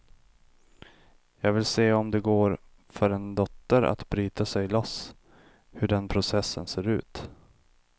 Jag ville se om det går för en dotter att bryta sig loss, hur den processen ser ut.